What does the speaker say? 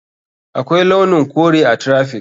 Akwai launin kore a traffic.